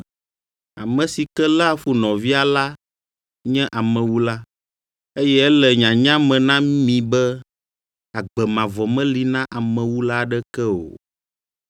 Ame si ke léa fu nɔvia la nye amewula, eye ele nyanya me na mi be agbe mavɔ meli na amewula aɖeke o.